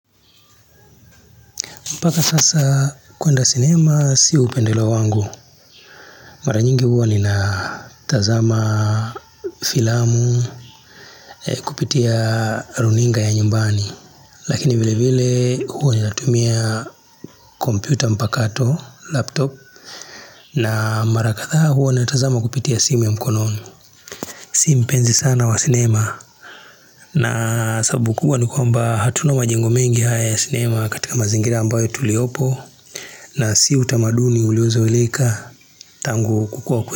Mpaka sasaaa, kuenda cinemaa si upendeleo wangu. Mara nyingi huwa ni naa tazamaa filamu eeh kupitia runinga ya nyumbani. Lakini vile vilee huwa ninatumia kompyuta mpakato laptop na mara kathaa huwa na tazama kupitia simu ya mkononi. Si mpenzi sana wa cinema naa sababu kubwa ni kwamba hatuna majengo mengi haya ya cinema katika mazingira ambayo tuliopo. Na si utamaduni uliozoeleka tangu kukua kwe.